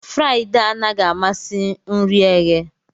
Friday anaghị amasị nri eghe